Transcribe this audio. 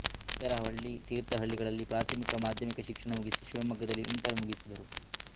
ಮೇಗರವಳ್ಳಿ ತೀರ್ಥಹಳ್ಳಿಗಳಲ್ಲಿ ಪ್ರಾಥಮಿಕ ಮಾಧ್ಯಮಿಕ ಶಿಕ್ಷಣ ಮುಗಿಸಿ ಶಿವಮೊಗ್ಗದಲ್ಲಿ ಇಂಟರ್ ಮುಗಿಸಿದರು